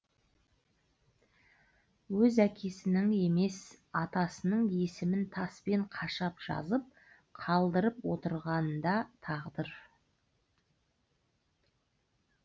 өз әкесінің емес атасының есімін таспен қашап жазып қалдырып отырғаны да тағдыр